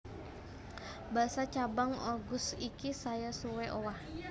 Basa cabang Oguz iki saya suwé owah